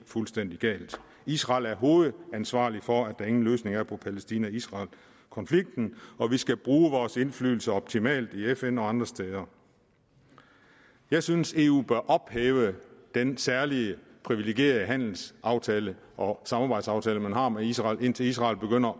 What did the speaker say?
fuldstændig galt israel er hovedansvarlig for at der ingen løsning er på palæstina israel konflikten og vi skal bruge vores indflydelse optimalt i fn og andre steder jeg synes at eu bør ophæve den særlig privilegerede handelsaftale og samarbejdsaftale man har med israel indtil israel begynder